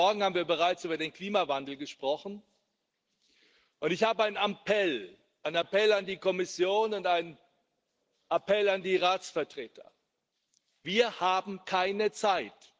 Heute Morgen haben wir bereits über den Klimawandel gesprochen, und ich habe einen Appell an die Kommission und einen Appell an die Ratsvertreter Wir haben keine Zeit.